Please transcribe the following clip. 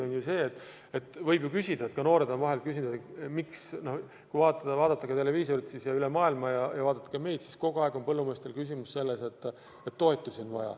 On ju tõsi, et kui vaadata televiisorist kogu maailmas sündivat, siis võib küsida – ka noored on vahel küsinud –, miks kogu aeg põllumehed nõuavad toetusi.